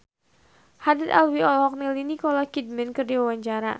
Haddad Alwi olohok ningali Nicole Kidman keur diwawancara